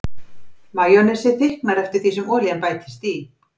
Majónesið þykknar eftir því sem olían bætist í.